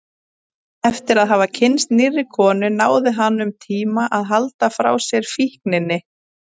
Eftir að hafa kynnst nýrri konu náði hann um tíma að halda sér frá fíkninni.